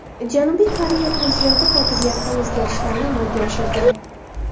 Janubiy Koreya prezidenti kotibiyatda o‘zgarishlarni amalga oshirdi.